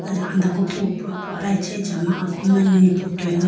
aya andaku popo apo aichi achama niputoyiga.